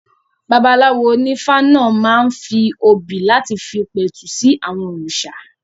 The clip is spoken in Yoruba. Babaláwo onífá náà máa ń fi obì láti fi pẹ̀tù sí àwọn òrìṣà